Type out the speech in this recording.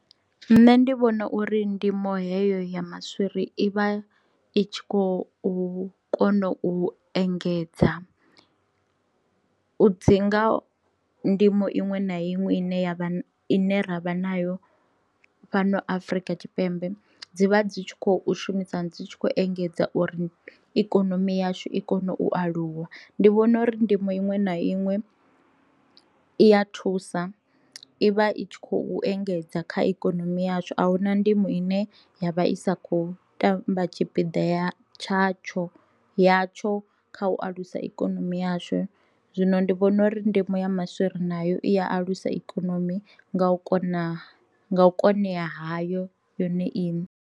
Nṋe ndi vhona uri ndimo heyo ya maswiri i vha i tshi khou kona u engedza u dzi nga ndimo iṅwe na iṅwe ine yavha ina ra vha nayo fhano Afrika Tshipembe dzivha dzi tshi khou shumisana dzi tshi kho engedza uri ikonomi yashu i kone u aluwa, ndi vhona uri ndimo iṅwe na iṅwe i ya thusa ivha i tshi khou engedza kha ikonomi yashu ahuna ndimo ine ya vha i sa kho tamba tshipida ya tshatsho ya tsho kha u alusa ikonomi yashu. Zwino ndi vhona uri ndimo ya maswiri nayo i alusa ikonomi nga u kona u konea hayo yone iṋe.